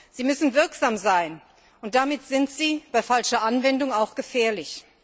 Sie müssen wirksam sein, und damit sind sie bei falscher Anwendung auch gefährlich.